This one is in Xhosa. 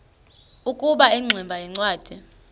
ukuba ingximba yincwadi